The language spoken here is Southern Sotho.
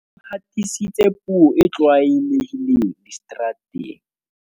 o hatisitse puo e tlwaelehileng diseterateng